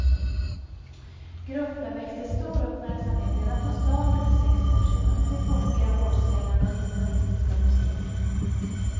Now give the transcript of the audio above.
Gruppen väckte stor uppmärksamhet redan från starten för sex år sedan med sin funkiga, hårdsvängande och humoristiska musik.